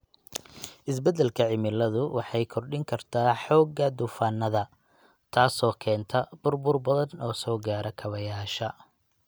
Isbeddelka cimiladu waxay kordhin kartaa xoogga duufaanada, taasoo keenta burbur badan oo soo gaara kaabayaasha.